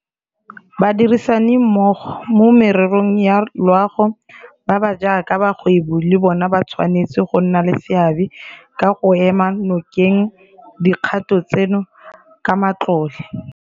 Badirisanimmogo mo mererong ya loago ba ba jaaka bagwebi le bona ba tshwanetse go nna le seabe ka go ema nokeng dikgato tseno ka matlole.